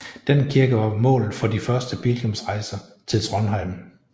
Den kirke var målet for de første pilgrimsrejser til Trondheim